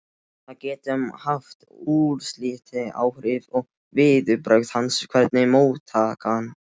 Það getur haft úrslitaáhrif á viðbrögð hans, hvernig móttakan er.